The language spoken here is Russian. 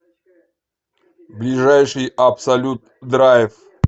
ближайший абсолют драйв